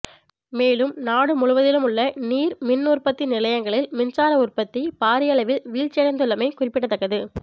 மேலும் நாடு முழுவதிலும் உள்ள நீர் மின் உற்பத்தி நிலையங்களில் மின்சார உற்பத்தி பாரியளவில் வீழ்ச்சியடைந்துள்ளமை குறிப்பிடத்தக்கது